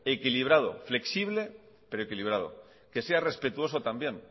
equilibrado flexible pero equilibrado que sea respetuoso también